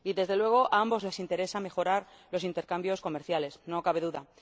Y, desde luego, a ambos les interesa mejorar los intercambios comerciales, no cabe duda.